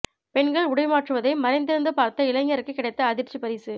பெண்கள் உடை மாற்றுவதை மறைந்திருந்து பார்த்த இளைஞருக்கு கிடைத்த அதிர்ச்சி பரிசு